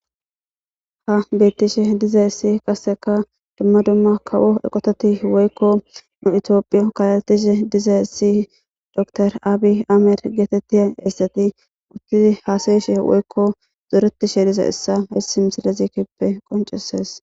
Ha beettishe dizayessi qaseka dumma dumma kawo eqototi woykko nu itioophiyo kalatishe diza essi dor aabi amir geetettiya essati uthtusi haasayishe woykko zoretishe diza issa hisi misilezikippe qoncesees.